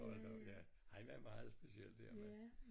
Hold da op ja han var meget speciel den mand